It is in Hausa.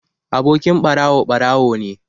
Abokin ɓarawo ɓarawo ne